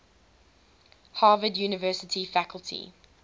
harvard university faculty